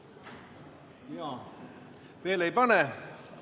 Ei, veel ei pane.